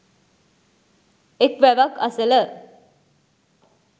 එක් වැවක් අසල